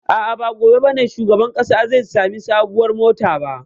A'a, ba gobe ba ne shugaban ƙasa zai sami sabuwar mota ba.